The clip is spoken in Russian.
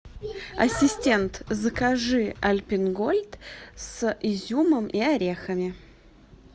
ассистент закажи альпен гольд с изюмом и орехами